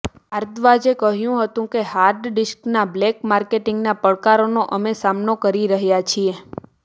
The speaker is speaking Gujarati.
ભારદ્વાજે કહ્યું હતું કે હાર્ડ ડિસ્કના બ્લેક માર્કેટિંગના પડકારનો અમે સામનો કરી રહ્યા છીએ